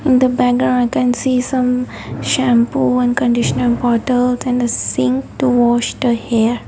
in the background i can see some shampoo and conditioner bottles and a sink to wash the hair.